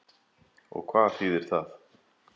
Og hvað þýðir það?